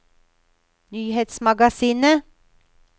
nyhetsmagasinet